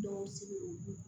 Dɔw sigi